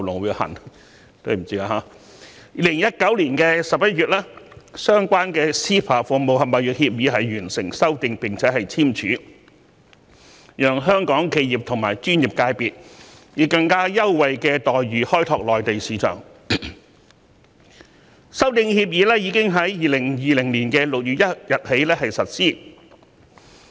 2019年11月，相關的 CEPA《服務貿易協議》完成修訂並簽署，讓香港企業及專業界別能以更優惠待遇開拓內地市場，修訂協議更已於2020年6月1日開始實施。